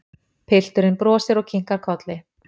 Pilturinn brosir og kinkar kolli.